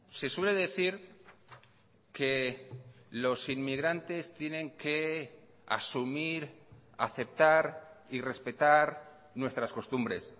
se suele decir que los inmigrantes tienen que asumir aceptar y respetar nuestras costumbres